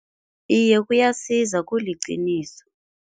Iye kuyasiza, kuliqiniso.